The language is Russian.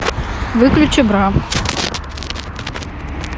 выключи бра